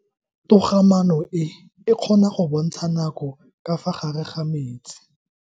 Toga-maano e, e kgona go bontsha nako ka fa gare ga metsi.